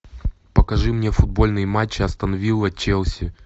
покажи мне футбольный матч астон вилла челси